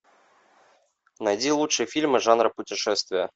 найди лучшие фильмы жанра путешествие